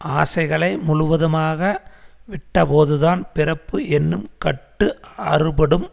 ஆசைகளை முழுவதுமாக விட்டபோதுதான் பிறப்பு என்னும் கட்டு அறுபடும்